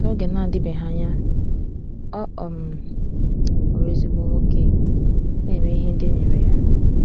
N’oge na-adịbeghị anya, ọ um ghọrọ ezigbo nwa nwoke na-eme ihe ndị e nyere ya.